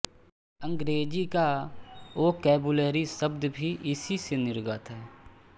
अंग्रेजी का वोकैब्युलेरी शब्द भी इसी से निर्गत है